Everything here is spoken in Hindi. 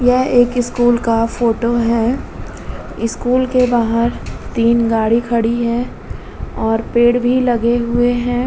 ये एक स्कूल का फोटो है। स्कूल के बाहर तीन गाड़ी खड़ी हैं और पेड़ भी लगे हुए हैं।